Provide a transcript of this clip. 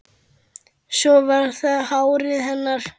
Svo var það hárið hennar.